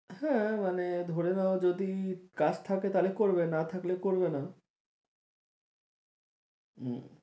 হ্যাঁ মানে ধরে নাও যদি কাজ থাকে তাহলে করবে না হলে করবে না হম